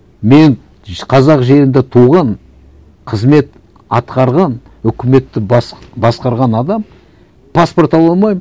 мен қазақ жерінде туған қызмет атқарған үкіметті басқарған адам паспорт ала алмаймын